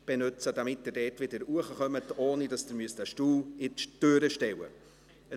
So kommen Sie dort wieder hinauf, ohne dass Sie einen Stuhl in die Türe stellen müssen.